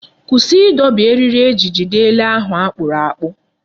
Kwụsị ịdọbi eriri eji jide ele ahụ akpụrụ akpụ!